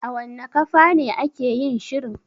A wanna kafane ake yin shirin?